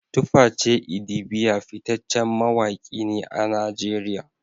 Tuface idibia fitaccen mawaki ne a Najeriya